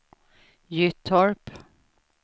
Gyttorp